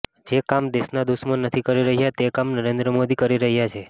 જે કામ દેશના દુશ્મન નથી કરી રહ્યા તે કામ નરેન્દ્ર મોદી કરી રહ્યા છે